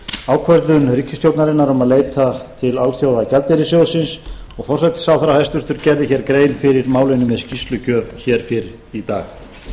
ákvörðun ríkisstjórnarinnar um að leita til alþjóðagjaldeyrissjóðsins og forsætisráðherra hæstvirtur gerði hér grein fyrir málinu með skýrslugjöf hér fyrr í dag